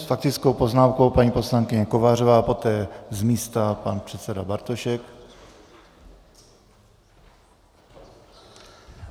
S faktickou poznámkou paní poslankyně Kovářová a poté z místa pan předseda Bartošek.